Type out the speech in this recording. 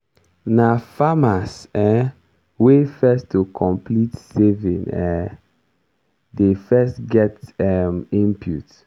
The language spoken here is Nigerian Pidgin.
na farmers um wey first to complete saving um dey first get um input.